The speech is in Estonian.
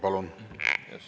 Palun!